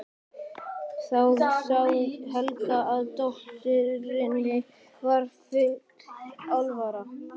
Þá sá Helgi að dótturinni var full alvara.